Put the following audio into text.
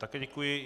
Také děkuji.